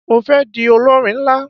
Mo fé di olórin nlá